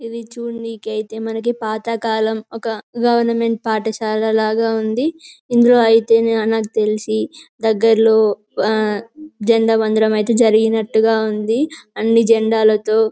ఇది చూడు నీకైతే మనకి పాతకాలం ఒక గవర్నమెంట్ పాఠశాల లాగా ఉంది. ఇందులో అయితే అ నాకు తెలిసి దగ్గర్లో జెండా వందనం అయితే జరిగినట్టుగా ఉంది అన్ని జెండాలతో --